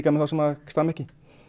þá sem stama ekki